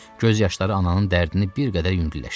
Göz yaşları ananın dərdini bir qədər yüngülləşdirdi.